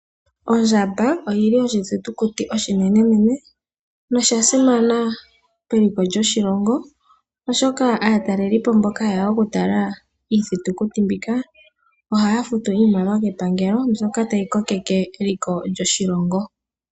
Ondjamba oyi li oshithitukuti oshinene, nosha simana keliko lyoshilongo oshoka aatalelipo mboka haye ya okutalela iithitukuti mbika, oha ya futu iimaliwa kepangelo mbyoka tayi kokitha eliko lyoshilongo.